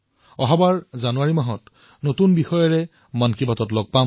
অহা বছৰত জানুৱাৰীত নতুন বিষয়ৰ ওপৰত মন কী বাত হব